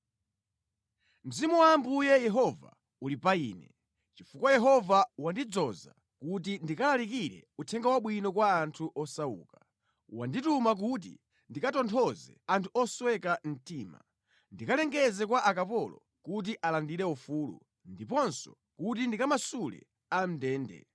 Mzimu wa Ambuye Yehova uli pa ine, chifukwa Yehova wandidzoza kuti ndilalikire uthenga wabwino kwa anthu osauka. Wandituma kuti ndikatonthoze anthu osweka mtima, ndikalengeze kwa akapolo kuti alandire ufulu ndiponso kuti ndikamasule a mʼndende.